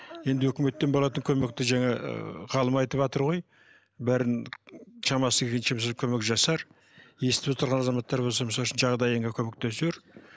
енді өкіметтен болатын көмекті жаңа ыыы ғалым айтыватыр ғой бәрін шамасы келгенше өзі көмек жасар естіп отырған азаматтар болса мысалы үшін жағдайыңа көмектесер